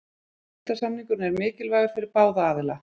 Styrktarsamningurinn er mikilvægur fyrir báða aðila.